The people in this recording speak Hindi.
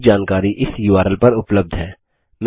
अधिक जानकारी इस उर्ल पर उबलब्ध है